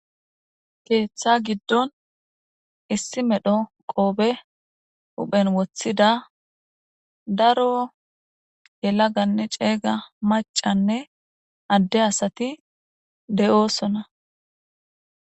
Keeththa giddon issi medho qoobe uphen woththida daro yela ganne ceeyga macanne adde asati de'osona.